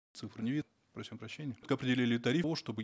цифр не просим прощения определили тариф чтобы